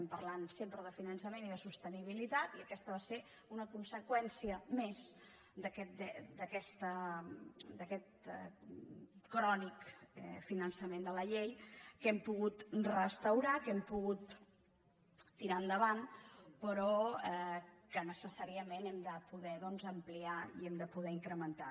parlem sempre de finançament i de sostenibilitat i aquesta va ser una conseqüència més d’aquest crònic infrafinançament de la llei que hem pogut restaurar que hem pogut tirar endavant però que necessàriament hem de poder ampliar i hem de poder incrementar